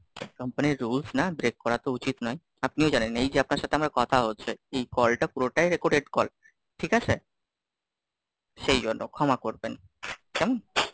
Company র Rules না break করা তো উচিত নয়। আপনিও জানেন? এই যে আপনার সাথে আমার কথা হচ্ছে, এই কলটা পুরোটাই Recorded calls, ঠিক আছে? সেই জন্য, ক্ষমা করবেন, কেমন?